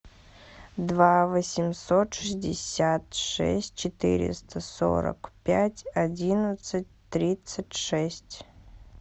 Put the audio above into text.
два восемьсот шестьдесят шесть четыреста сорок пять одиннадцать тридцать шесть